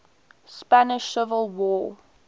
spanish civil war